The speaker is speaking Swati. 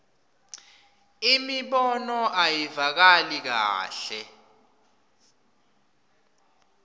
imibono ayivakali kahle